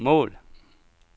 mål